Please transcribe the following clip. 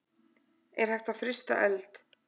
Er hægt að frysta eld?